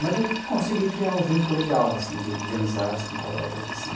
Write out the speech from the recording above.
Mas eu consegui criar um vínculo legal assim de de amizades com colegas assim.